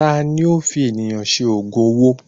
Tani ó fi ènìyàn ṣe ògùn owó?